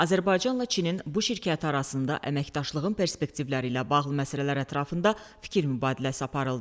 Azərbaycanla Çinin bu şirkət arasında əməkdaşlığın perspektivləri ilə bağlı məsələlər ətrafında fikir mübadiləsi aparıldı.